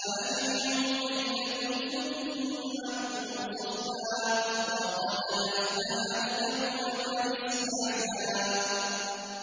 فَأَجْمِعُوا كَيْدَكُمْ ثُمَّ ائْتُوا صَفًّا ۚ وَقَدْ أَفْلَحَ الْيَوْمَ مَنِ اسْتَعْلَىٰ